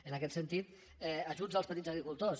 en aquest sentit ajuts als petits agricultors